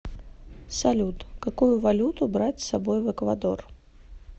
салют какую валюту брать с собой в эквадор